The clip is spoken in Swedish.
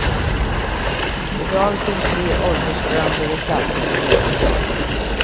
I dag finns tre åldersblandade klasser på mellanstadiet.